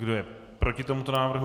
Kdo je proti tomuto návrhu?